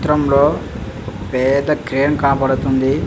ఈ చిత్రం లోఒక పెద్ద క్రేన్ కనపడ్తుంది.